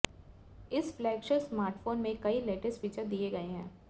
इस flagship smartphone में कई लेटेस्ट फीचर्स दिए गए हैं